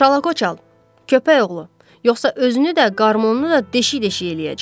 Şalakoçal, köpəkoğlu, yoxsa özünü də, qarmonunu da deşik-deşik eləyəcəm.